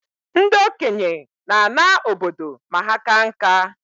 Ndị okenye na-ana obodo ma ha kaa nka